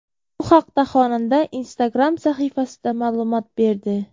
Bu haqda xonanda Instagram sahifasida ma’lumot berdi .